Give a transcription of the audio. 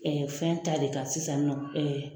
fɛn ta de kan sisan nin nɔ